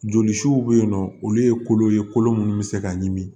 Joli suw be yen nɔ olu ye kolo ye kolo minnu bɛ se ka ɲimi